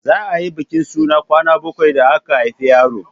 za a yi bikin suna kwana bakwai da aka haifi yaro